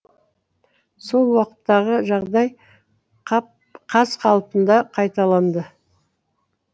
сол уақыттағы жағдай қаз қалпында қайталанды